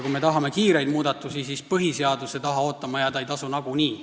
Kui me tahame kiireid muudatusi, siis põhiseaduse taha ootama jääda ei tasu nagunii.